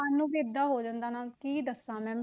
ਮਨ ਨੂੰ ਵੀ ਏਦਾਂ ਹੋ ਜਾਂਦਾ ਨਾ ਕੀ ਦੱਸਾ ਮੈਂ,